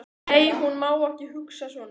Nei, hún má ekki hugsa svona.